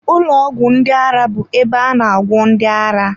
Ụlọ ọgwụ ndị ara bụ ebe a na agwọ ndị ara